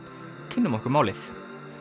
kynnum okkur málið